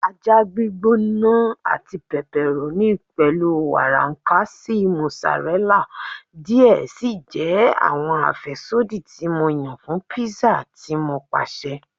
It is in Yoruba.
Aja gbigbona ati pepperoni pẹlu warankasi mozzarella diẹ sii jẹ awọn afẹsodi ti Mo yan fun pizza ti Mo paṣẹ